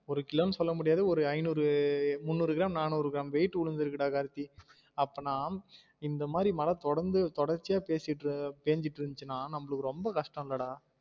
ஒரு கிலோ ன்னு சொல்ல முடியாது ஒரு ஐநூறு முந்நூறு கிராம் நானூறு கிராம் weight உழுந்துருக்கு டா கார்த்தி அப்பனா இந்த மாதிரி மழ தொடர்ந்து தொடர்ச்சியா பேசிட்டு பேஞ்சிட்டு இருந்துச்சுனா நம்மளுக்கு ரொம்ப கஷ்டம் ல டா